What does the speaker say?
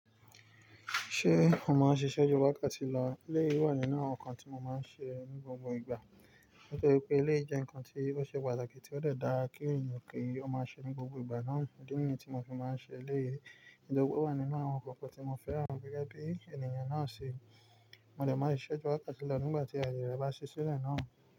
Ṣé mo máa ń ṣiṣẹ́ ju wákàtí lọ? Eléyìí wà nínú àwọn ǹkan tí mo máa ń ṣe ní gbogbo ìgbà. Nítorí pé eléyìí jẹ́ ǹkan tí ó ṣe pàtàkì tí ó dà dára kí ènìyàn kí ó máa ṣe ní gbogbo ìgbà náà. Idí nìyẹn tí mo fi máa ń ṣe eléyìí, tó je pé o wà nínú àwọn nnkan tí mo fẹ́ran gẹ gẹ. Bí ènìyàn náà ṣe. Mo dẹ̀ máa ṣiṣẹ́ ju wákàtí lọ nígbà tí àyè bá ṣe sílẹ̀ náà.